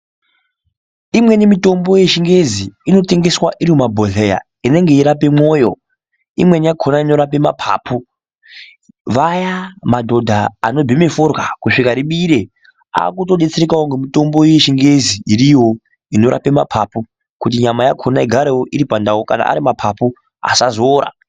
Imweni mitombo yechingezi inotengeswa iri mumabholeya inenge yeirape mwoyo imweni yakona inorape mapapu, vaya madhodha anobhema forya kusvika ribire akutodetserekawo ngemutombo yechingezi iriyo inorape mapapu kuti nyama yakona igarewo iripandau kana ari ari mapapu asazoora.